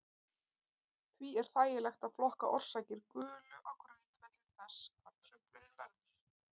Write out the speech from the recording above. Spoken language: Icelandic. Því er þægilegt að flokka orsakir gulu á grundvelli þess hvar truflunin verður.